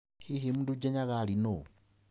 Hihi Mdude Nyaghali nũ?